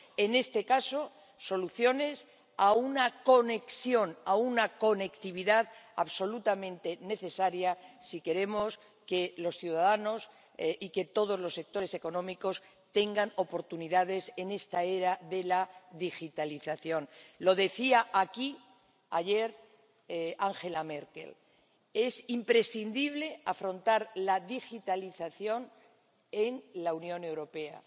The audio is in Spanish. En este caso, soluciones a una conexión, a una conectividad absolutamente necesaria si queremos que los ciudadanos y que todos los sectores económicos tengan oportunidades en esta era de la digitalización. Lo decía aquí, ayer, Angela Merkel es imprescindible afrontar la digitalización en la Unión Europea.